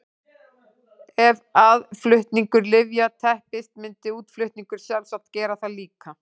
Ef aðflutningur lyfja teppist myndi útflutningur sjálfsagt gera það líka.